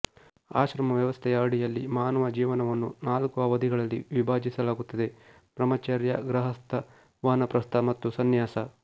ಆಶ್ರಮ ವ್ಯವಸ್ಥೆಯ ಅಡಿಯಲ್ಲಿ ಮಾನವ ಜೀವನವನ್ನು ನಾಲ್ಕು ಅವಧಿಗಳಲ್ಲಿ ವಿಭಜಿಸಲಾಗುತ್ತದೆ ಬ್ರಹ್ಮಚರ್ಯ ಗೃಹಸ್ಥ ವಾನಪ್ರಸ್ಥ ಮತ್ತು ಸಂನ್ಯಾಸ